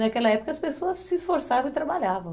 Naquela época, as pessoas se esforçavam e trabalhavam.